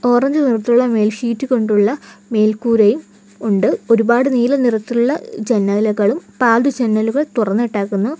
Orange നിറത്തിലുള്ള മേൽഷീറ്റ് കൊണ്ടുള്ള മേൽക്കൂരയും ഉണ്ട് ഒരുപാട് നീല നിറത്തിലുള്ള ജനാലകളും പാതി ജനലുകൾ തുറന്നിട്ടേക്കുന്നു.